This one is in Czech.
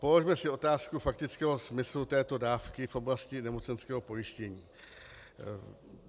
Položme si otázku faktického smyslu této dávky v oblasti nemocenského pojištění.